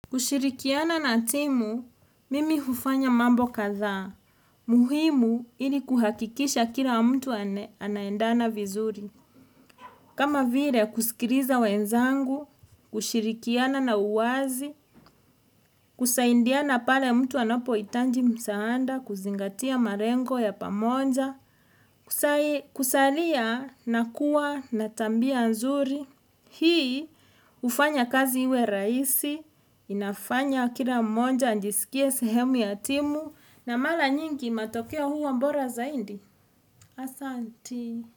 Kushirikiana na timu, mimi hufanya mambo kadhaa. Muhimu ili kuhakikisha kila mtu anaendana vizuri. Kama vile kusikiliza wenzangu, kushirikiana na uwazi, kusaidiana pale mtu anapo hitaji msaada, kuzingatia malengo ya pamoja, kusaliya na kuwa na tabia nzuri. Hii hufanya kazi iwe rahisi inafanya kila mmoja ajisikie sehemu ya timu na mara nyingi matokeo huwa bora zaidi Asanti.